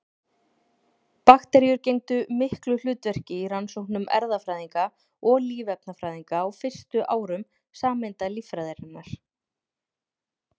Bakteríur gegndu miklu hlutverki í rannsóknum erfðafræðinga og lífefnafræðinga á fyrstu árum sameindalíffræðinnar.